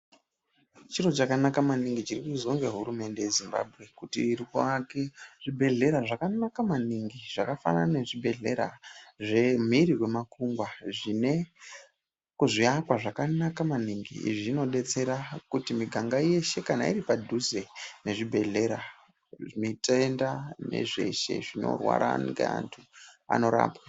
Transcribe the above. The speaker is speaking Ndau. Chiro chakanaka maningi chirikuizwa nehurumende yeZimbabwe kuti irikuake zvibhedhlera zvakanaka maningi zvakafanana nezvibhehlera zvemhiri kwemakungwa zvine zviakwa zvakanaka maningi. Izvi zvinodetsera kuti miganga yeshe kana iripadhuze nezvibhehlera, mitenda nezveshe zvinorwara ngeantu, anorapwa.